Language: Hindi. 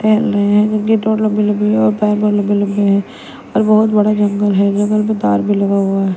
खेल रहे हैं लंबी लंबी है और है। और बहोत बड़ा जंगल है जंगल में तार भी लगा हुआ है।